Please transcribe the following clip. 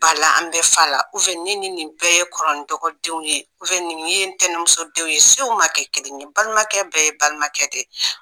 Ba la, an bɛ fa la, ne ni nin bɛɛ ye kɔfrɔ ni dɔgɔdenw de ye, nin ye n ntɛnɛnmuso denw ye , sow ma kɛ kelen ye , balimakɛ bɛɛ ye balimakɛ de ye!